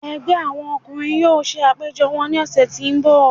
Ẹgbẹ àwọn ọkùnrin yóò ṣe àpéjọ wọn ní ọ̀sẹ̀ tí ń bọ̀.